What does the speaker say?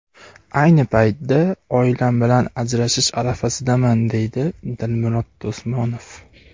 Ayni paytda oilam bilan ajrashish arafasidaman, deydi Dilmurod Do‘smonov.